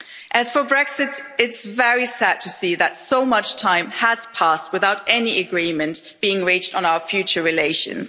As for Brexit, it's very sad to see that so much time has passed without any agreement being reached on our future relations.